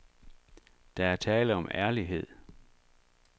Der er tale om ærlighed.